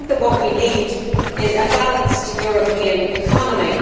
I think that what we need is a balanced European economy.